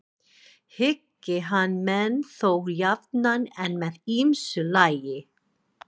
Hyggi hann menn þó jafnan en með ýmsu lagi.